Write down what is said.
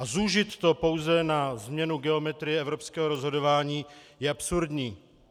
A zúžit to pouze na změnu geometrie evropského rozhodování je absurdní.